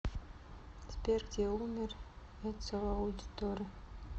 сбер где умер эцио аудиторе